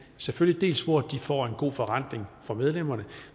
selvfølgelig dels hvor de får en god forrentning for medlemmerne